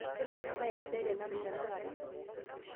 Tolimu embae sidai tenanu tenakata